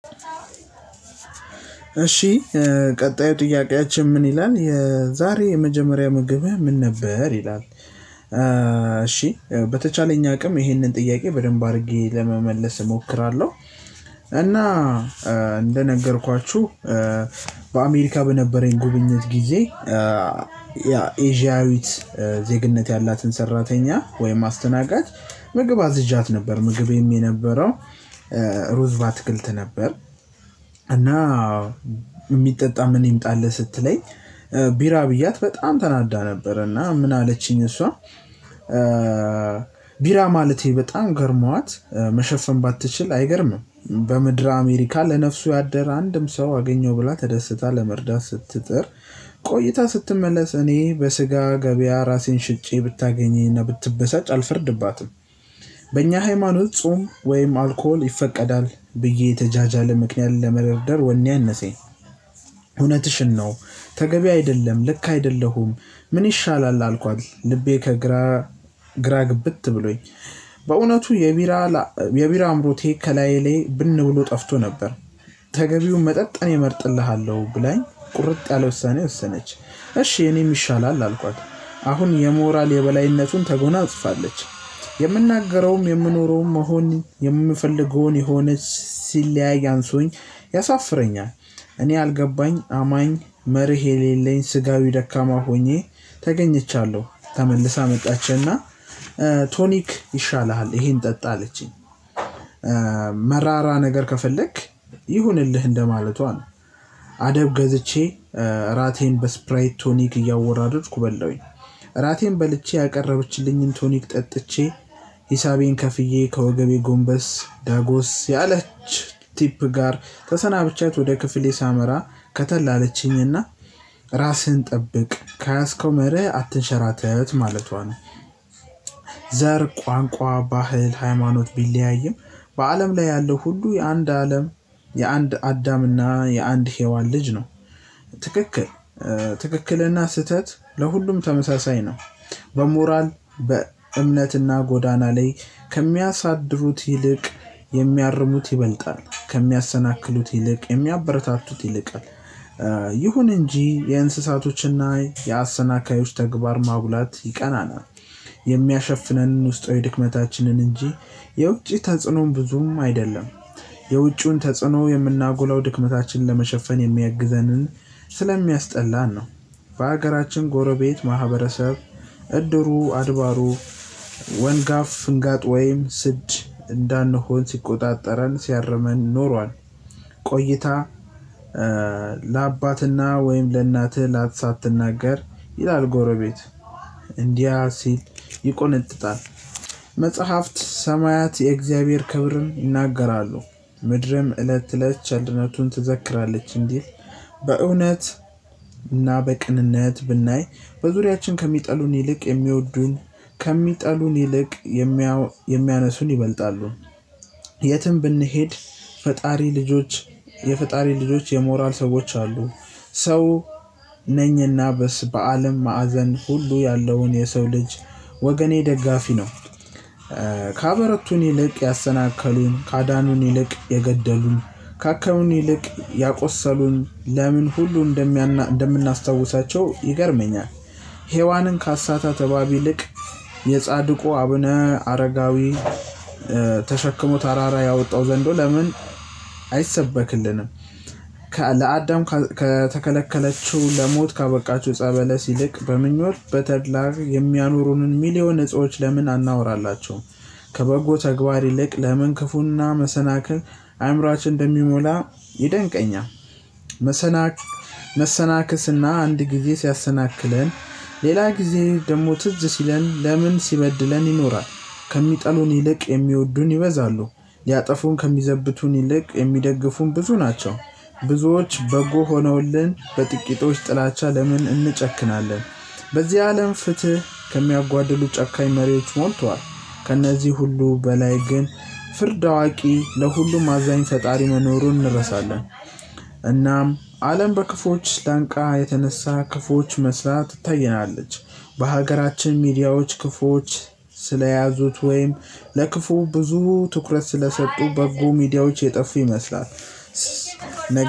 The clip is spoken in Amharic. እሺ ቀጣዩ ጥያቄያችን ምን ይላል የዛሬ የመጀመሪያ ምግብህ ምን ነበር ይላል? እሺ በተቻለኝ አቅም ይህንን ጥያቄ በደንብ አድርጌ ለመመለስ እሞክራለሁ። እና እንደነገርኳችሁ በአሜሪካ በነበረኝ ጉብኝት ጊዜ ያ ኤዥያዊት ዜግነት ያላትን ሰራተኛ ወይም አስተናጋጅ ምግብ አዝዣት ነበር ምግቤም የነበረው ሩዝ ባትክልት ነበር። ሚጠጣ ምን ይምጣልህ ስትለኝ ቢራ ብያት በጣም ተናዳ ነበር እና ምን አለችኝ እሷ? ቢራ ማለቴ በጣም ገረሟት መሸፈን ባትችል አይገርምም። በምድር አሜሪካ ለነፍሱ ያደረ አንድም ሰው አገኘው ብላ ተደስታ ለመርዳት ስትጥር ቆይታ ስትመለስ እኔ በስጋ ገበያ ራሴን ሽጬ ብታገኘኝ ብትበሳጭ አልፈርድባትም። በእኛ ሃይማኖት ጾም ወይም አልኮል ይፈቀዳል ብዬ የተጃጃለ ምክንያት ለመደርደር ወኔ አነሴ። እውነትሽን ነው ተገቢ አይደለም ልክ አይደለሁም ምን ይሻላል አልኳት ልቤ ከግራ ግራ ግብት ብሎኝ። በእውነቱ የቢራ የቢራ አምሮቴ ከላዬ ላይ ብን ብሎ ጠፍቶ ነበር። ተገቢውን መጠጥ እኔ እመርጥልሃለሁ ብላኝ ቁርጥ ያለ ወሳኔ ወሰነች። እሺ የኔም ይሻላል አልኳት አሁን የሞራል የበላይነቱን ተጎናጽፋለች። የምናገረውም የምኖረውም መሆን የምፈልገውን የሆነ ሲለያይ አንሶኝ እኔ አልገባኝ አማኝ መርህ የሌለኝ ስጋዊ ደካማ ሆኜ ተገኝቻለሁ። ተመልሳ መጣችና ቶኒክ ይሻልሃል እሄን ጠጣ አለችኝ። ነገር ከፈለክ ይሁንልህ እንደማለቷ ነው። አደብ ገዝቼ እራቴን በስፕራይት ቶኒክ እያወራረድኩ በላሁኝ። እራቴን በልቼ ያቀረብችልኝን ቶኒክ ጠጥቼ ሂሳቤን ከፍዬ ከወገቤ ጎንበስ ዳጎስ ያለች ቲፕ ጋር ተሰናብቻት ወደ ክፍሌ ሳመራ ከተልአለችኝና ራስህን ጠብቅ ከያዝከው መርህ አትንሸራተት ማለቷ ነው። ዘር ቋንቋ ባህል ሃይማኖት ቢለያይም በአለም ላይ ያለው ሁሉ የአንድ አለም የአንድ አዳምና የአንድ ሄዋን ልጅ ነው። ትክክል። ትክክልና ስህተት ለሁሉም ተመሳሳይ ነው። በሞራል በእምነትና ጎዳና ላይ ከሚያሳድሩት ይልቅ የሚያርሙት ይበልጣል ከሚያሰናክሉት ይልቅ የሚያበረታቱት ይልቃል። ይሁን እንጂ የእንስሳቶችና የአሰናካዮች ተግባር ማጉላት ይቀናናል። የሚያሸፍነንን ውስጣዊ ድክመታችን እንጂ የውጪ ተጽዕኖም ብዙም አይደለም። የውጪውን ተጽዕኖ የምናጎለው ድክመታችንን ለመሸፈን የሚያግዘንን ስለሚያስጠላን ነው። በሀገራችን ጎረቤት ማህበረሰብ እድሩ አድባሩ ወንጋፍ ፍንጋጥ ወይም ስድ እንዳንሆን ሲቆጣጠረን ሲያርመን ኖሯል። ቆይታ ለአባትና ወይም ለእናትህ ላተሳትናገር ይላል ጎረቤት እንዲህ ሲል ይቆነጥጣል። መጽሐፍት ሰማያት የእግዚአብሔር ክብርን ይናገራሉ ምድርም እለት እለት ችልድነቱን ትዘክራለች እንዲል። በእውነት እና በቅንነት ብናይ በዙሪያችን ከሚጠሉን ይልቅ የሚወዱን ከሚጠሉን ይልቅ የሚያነሱን ይበልጣሉ። የትም ብንሄድ ፈጣሪ ልጆች የፈጣሪ ልጆች የሞራል ሰዎች አሉ ሰው ነኝና በስ በአለም ማዕዘን ሁሉ ያለውን የሰው ልጅ ወገኔ ደጋፊ ነው። ካበረቱን ይልቅ ያሰናከሉን ካዳኑን ይልቅ የገደሉን ካከሉን ይልቅ ያቆሰሉን ለምን ሁሉ እንደምናስታውሳቸው ይገርመኛል። ሄዋንን ካሳታት እባብ ይልቅ የጻድቁ አብነ አረጋዊ ተሸክሞ ተራራ ያወጣው ዘንዶ ለምን አይሰበክልንም። ለአዳም ከተከለከለችው ለሞት ካበቃችው ጸበለስ ይልቅ በምኞት በተድላ የሚያኖሩንን ሚሊዮን እጾች ለምን አናወራላቸውም? ከበጎ ተግባር ይልቅ ለምን ክፉና መሰናከል አእምሮአችን እንደሚሞላ ይደንቀኛል። መሰናከስና አንድ ጊዜ ሲያሰናክለን ሌላ ጊዜ ደግሞ ትዝ ሲለን ለምን ሲበድለን ይኖራል። ከሚጠሉን ይልቅ የሚወዱን ይበዛሉ። ያጠፉን ከሚዘብቱን ይልቅ የሚደግፉን ብዙ ናቸው። ብዙዎች በጎ ሆነውልን በጥቂቶች ጥላቻ ለምን እንጨክናለን? በዚህ አለም ፍትህ ከሚያጓድሉ ጨካኝ መሪዎች ሞልቷል። ከእነዚህ ሁሉ በላይ ግን ፍርድ አዋቂ ለሁሉም አዛኝ ፈጣሪ መኖሩን እንረሳለን። እናም አለም በክፉዎች ስላንቃ የተነሳ ክፉዎች መስላ ትታየናለች። በሀገራችን ሚዲያዎች ክፉዎች ስለያዙት ወይም ለክፉ ብዙ ትኩረት ስለሰጡ በጎ ሚዲያዎች የጠፉ ይመስላል።